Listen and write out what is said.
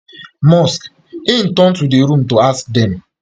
musk im turn to di room to ask dem